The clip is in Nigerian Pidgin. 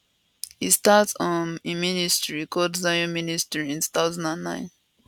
e start um im ministry called zion ministry in 2009